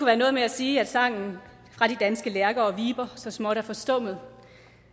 være noget med at sige at sangen fra de danske lærker og viber så småt er forstummet